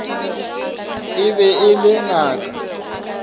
e be e le ngaka